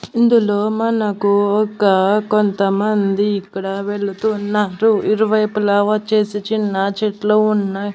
ఇందులో మనకు ఒక కొంతమంది ఇక్కడ వెళుతున్నారు ఇరువైపులా వచ్చేసి చిన్న చెట్లు ఉన్నాయి.